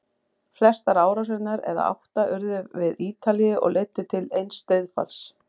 Flestar árásirnar, eða átta, urðu við Ítalíu og leiddu til eins dauðsfalls.